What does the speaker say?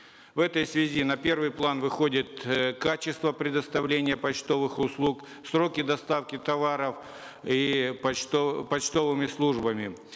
в этой связи на первый план выходит э качество предоставления почтовых услуг сроки доставки товаров и почтовыми службами